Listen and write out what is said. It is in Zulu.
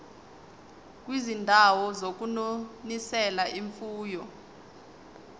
kwizindawo zokunonisela imfuyo